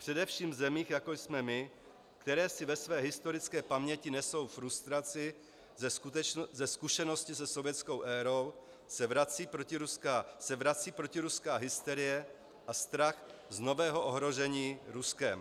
Především v zemích, jako jsme my, které si ve své historické paměti nesou frustraci ze zkušenosti se sovětskou érou, se vrací protiruská hysterie a strach z nového ohrožení Ruskem.